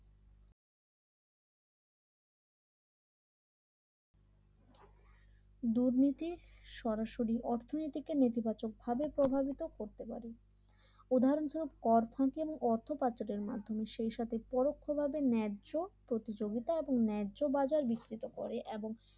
দুর্নীতি সরাসরি অর্থনীতিকে নির্বাচকভাবে গর্বিত করতে পারে ধন স্বরূপ কর ফাঁকি এবং অর্থ পাচারের মাধ্যমে সেই সাথে পরোক্ষভাবে ন্যায্য প্রতিযোগিতা এবং ন্যায্য বাজার বিকৃত করে এবং